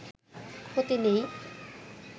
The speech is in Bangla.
ক্ষতি নেই